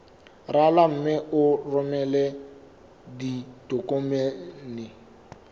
rala mme o romele ditokomene